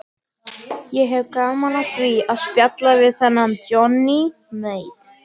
Ég hefði gaman af því að spjalla við þennan Johnny Mate.